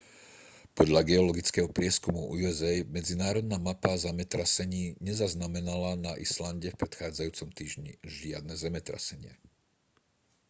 podľa geologického prieskumu usa medzinárodná mapa zemetrasení nezaznamenala na islande v predchádzajúcom týždni žiadne zemetrasenia